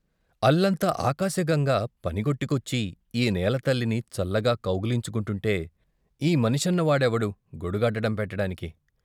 అల్లంత ఆకాశగంగ పనిగట్టుకొచ్చి ఈనేల తల్లిని చల్లగా కౌగలించుకుంటుంటే ఈ మనిషన్న వాడెవడు గొడుగడ్డం పెట్టుకోటానిక్?